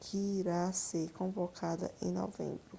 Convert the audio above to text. que irá ser convocada em novembro